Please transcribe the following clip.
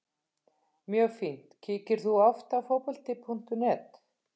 Mjög fínt Kíkir þú oft á Fótbolti.net?